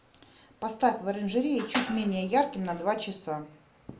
поставь в оранжерее чуть менее ярким на два часа